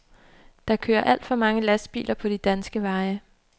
Der kører alt for mange lastbiler på de danske veje.